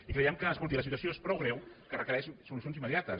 i creiem que escolti la situació és prou greu que requereix solucions immediates